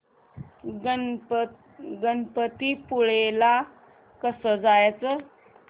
गणपतीपुळे ला कसं जायचं